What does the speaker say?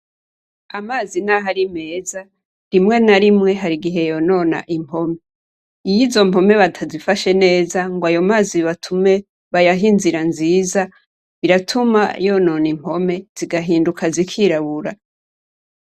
Amazi n'aho ari meza, rimwe na rimwe hari igihe yonona impome. Iyo izo mpome batazifashe neza ngo ayo mazi batume, bayahe inzira nziza, biratuma yonona impome zigahinduka zikirabura.